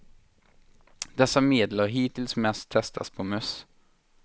Dessa medel har hittills mest testats på möss.